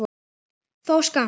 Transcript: þó skammt.